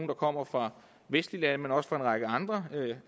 der kommer fra vestlige lande men også fra en række andre